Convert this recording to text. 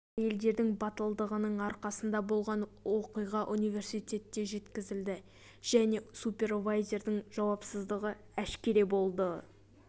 бұл әйелдердің батылдығының арқасында болған оқиға университетке жеткізілді және супервайзердің жауапсыздығы әшкере болды